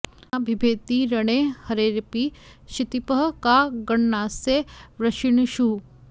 न बिभेति रणे हरेरपि क्षितिपः का गणनास्य वृष्णिषु